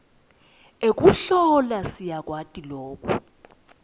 ekuhlola siyakwati loku